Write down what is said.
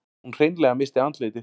Hún hreinlega missti andlitið.